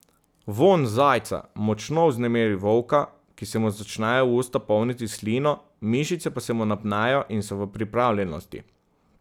Vonj zajca močno vznemiri volka, ki se mu začnejo usta polniti s slino, mišice pa se mu napnejo in so v pripravljenosti.